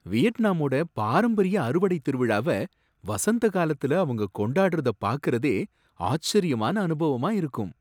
வியட்நாமோட பாரம்பரிய அறுவடைத்திருவிழாவ வசந்த காலத்துல அவங்க கொண்டாடுறத பாக்கறதே ஆச்சரியமான அனுபவமா இருக்கும்.